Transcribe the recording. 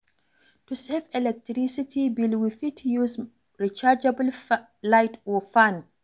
To save electricity bill, we fit use rechargeable light or fan